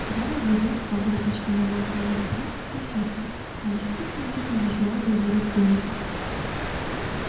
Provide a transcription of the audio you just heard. гарри оглядел стол где почти не было свободных мест и спросил себя а не сидит ли где-то здесь новый владелец дневника